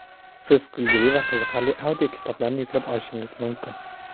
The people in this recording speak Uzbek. Siz kulgili va qiziqarli audiokitoblarni yuklab olishingiz mumkin.